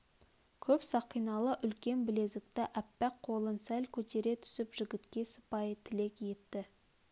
көп сақиналы үлкен білезікті аппақ қолын сәл көтере түсіп жігітке сыпайы тілек етті